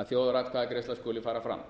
að þjóðaratkvæðagreiðsla skuli fara fram